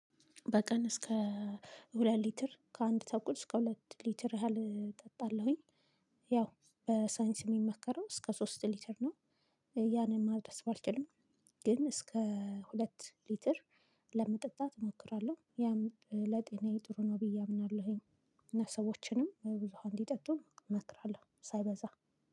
በቀን እስከ ሁለት ሊትር ከአንድ ተኩል እስከ ሁለት ሊትር ያህል እጣለሁኝ። ያው በሳይንስ የሚመከረው እስከ ሶስት ሊትር ነው። ያንን ማድረስ ባልችልም ግን እስከ ሁለት ሊትር ለመጠጣት እሞክራለሁ። ያም ለጤናዬ ጥሩ ነው ብዬ አምናለሁኝ። እና ሰዎችንም ብዙ ውሃ እንዲጠጡ እመክራለሁ። ሳይበዛ